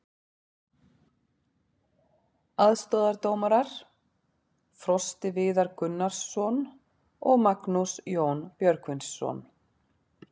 Aðstoðardómarar: Frosti Viðar Gunnarsson og Magnús Jón Björgvinsson.